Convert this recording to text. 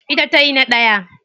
Ita tayi na daya.